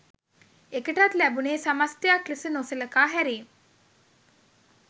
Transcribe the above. එකටත් ලැබුනේ සමස්තයක් ලෙස නොසලකා හැරීම්